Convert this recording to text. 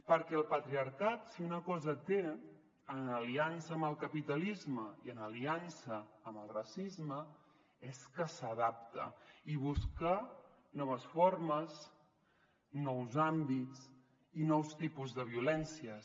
perquè el patriarcat si una cosa té en aliança amb el capitalisme i en aliança amb el racisme és que s’adapta i busca noves formes nous àmbits i nous tipus de violències